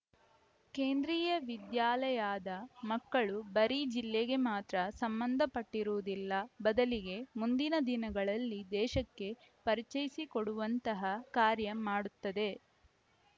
ಕೇಂದ್ರಿಯ ವಿದ್ಯಾಲಯಾದ ಮಕ್ಕಳು ಬರೀ ಜಿಲ್ಲೆಗೆ ಮಾತ್ರ ಸಂಬಂಧ ಪಟ್ಟಿರುವುದಿಲ್ಲ ಬದಲಿಗೆ ಮುಂದಿನ ದಿನಗಳಲ್ಲಿ ದೇಶಕ್ಕೆ ಪರಿಚಯಿಸಿಕೊಡುವಂತಹ ಕಾರ್ಯ ಮಾಡುತ್ತದೆ